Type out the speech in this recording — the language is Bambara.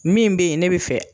Min bɛ ye ne bɛ fɛ